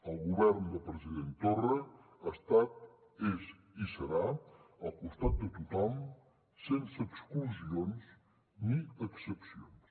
el govern del president torra ha estat és i serà al costat de tothom sense exclusions ni excepcions